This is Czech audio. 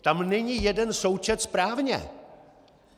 Tam není jeden součet správně!